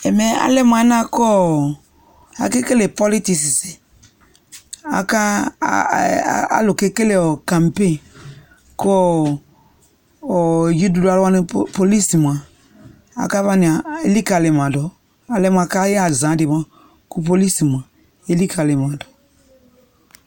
Ɛmɛ alɛ mʋ alɛna yɛ kʋʋ akakelel politics, aka, alʋ kekele campagn kʋʋ dziɖuɖu alʋ wani police mʋa akavani a elikalima dʋ, alɛ mʋ akayɛ azandɩ mʋa kʋ police mʋa elikalima dʋ